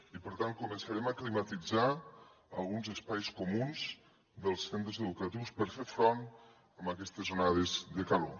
i per tant començarem a climatitzar alguns espais comuns dels centres educatius per fer front a aquestes onades de calor